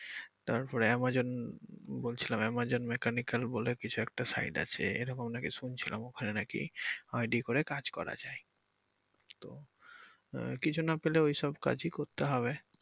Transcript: তারপরে Amazon বলছিলাম Amazon mechanical বলে কিছু একটা site আছে এরকম নাকি শুনছিলাম ওখানে নাকি ID করে কাজ করা যায় তো আহ কিছু না পেলে ওইসব কাজেই করতে হবে।